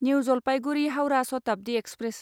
new Jalpaiguri Howrah Shatabdi express